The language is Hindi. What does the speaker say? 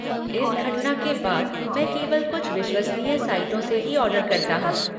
इस घटना के बाद मैं केवल कुछ विश्वसनीय साइटों से ही ऑर्डर करता हूँ।